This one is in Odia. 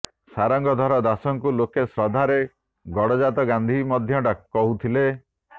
ସାରଙ୍ଗଧର ଦାସଙ୍କୁ ଲୋକେ ଶ୍ରଦ୍ଧାରେ ଗଡ଼ଜାତ ଗାନ୍ଧୀ ମଧ୍ୟ କହୁଥିଲେ